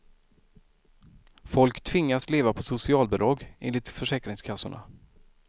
Folk tvingas leva på socialbidrag, enligt försäkringskassorna.